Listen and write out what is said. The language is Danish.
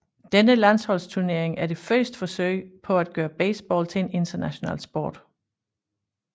Denne landsholdsturnering er det første forsøg på at gøre baseball til en international sport